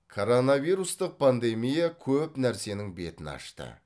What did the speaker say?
коронавирустық пандемия көп нәрсенің бетін ашты